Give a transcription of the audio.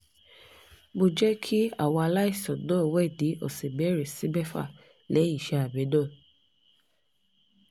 mo jẹ́ kí àwọn aláìsàn náà wẹ̀ ní ọ̀sẹ̀ mẹ́rin sí mẹ́fà lẹ́yìn iṣẹ́ abẹ náà